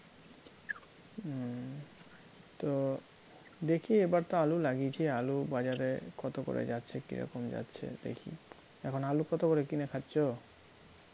তো দেখি এবার তো আলু লাগিয়েছি, আলু বাজারে কত করে যাচ্ছে কীরকম যাচ্ছে দেখি, এখন আলু কত করে কিনে খাচ্ছ?